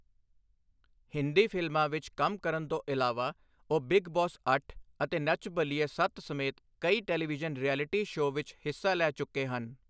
ਹਿੰਦੀ ਫ਼ਿਲਮਾਂ ਵਿੱਚ ਕੰਮ ਕਰਨ ਤੋਂ ਇਲਾਵਾ, ਉਹ ਬਿੱਗ ਬੌਸ ਅੱਠ ਅਤੇ ਨੱਚ ਬਲੀਏ ਸੱਤ ਸਮੇਤ ਕਈ ਟੈਲੀਵਿਜ਼ਨ ਰਿਐਲਿਟੀ ਸ਼ੋਅ ਵਿੱਚ ਹਿੱਸਾ ਲੈ ਚੁੱਕੇ ਹਨ।